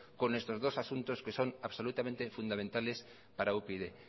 con estos dos asuntos que son absolutamente fundamentales para upyd